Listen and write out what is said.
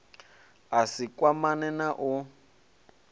a si kwamane na u